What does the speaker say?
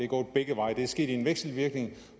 gået begge veje det er sket i en vekselvirkning